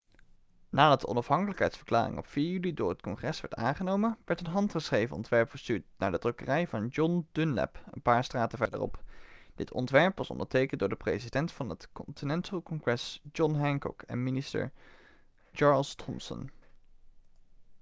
nadat de onafhankelijkheidsverklaring op 4 juli door het congres werd aangenomen werd een handgeschreven ontwerp verstuurd naar de drukkerij van john dunlap een paar straten verderop dit ontwerp was ondertekend door de president van het continental congress john hancock en minister charles thomson